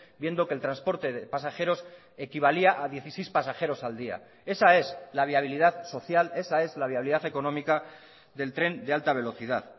viendo que el transporte de pasajeros equivalía a dieciséis pasajeros al día esa es la viabilidad social esa es la viabilidad económica del tren de alta velocidad